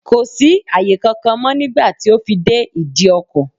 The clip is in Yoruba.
Kò sí àyè kankan mọ́ nígbà tí ó fi dé ìdí ọkọ̀.